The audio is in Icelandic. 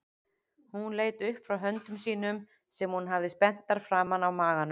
Hún leit upp frá höndum sínum sem hún hafði spenntar framan á maganum.